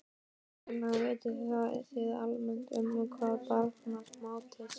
Karen: Vitið þið almennt um hvað barnasáttmálinn snýst?